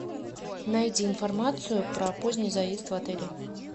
найди информацию про поздний заезд в отеле